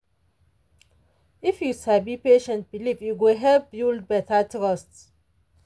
if you sabi patient belief e go help build better trust.